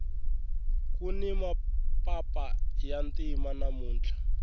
kuni mapapa ya ntima namuntlha